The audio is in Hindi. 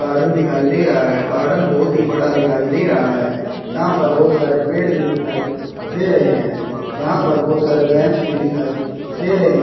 गार्डन दिखाई दे रहा है गार्डन बहुत ही बड़ा दिखाई दे रहा है यहां पर बहुत सारे पेड़ भी दिखाई दे रहे हैं यहां पर बहुत सारे बेंच भी दिखाई दे रहे हैं।